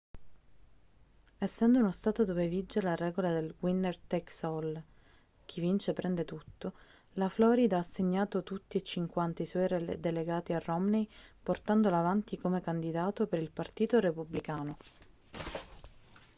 essendo uno stato dove vige la regola del winner takes all chi vince prende tutto la florida ha assegnato tutti e cinquanta i suoi delegati a romney portandolo avanti come candidato per il partito repubblicano